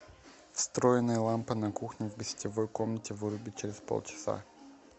встроенная лампа на кухне в гостевой комнате выруби через полчаса